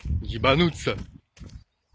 ебануться